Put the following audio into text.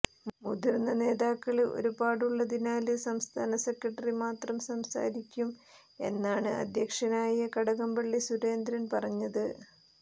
മുതിര്ന്ന നേതാക്കള് ഒരുപാടുള്ളതിനാല് സംസ്ഥാന സെക്രട്ടറി മാത്രം സംസാരിക്കും എന്നാണ് അധ്യക്ഷനായ കടകംപള്ളി സുരേന്ദ്രന് പറഞ്ഞത്